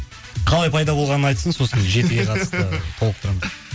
қалай пайда болғанын айтсын сосын жетіге қатысты толықтырамын